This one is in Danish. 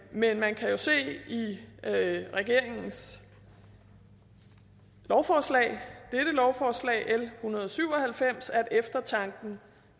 men man kan jo se i regeringens lovforslag dette lovforslag l en hundrede og syv og halvfems at eftertanken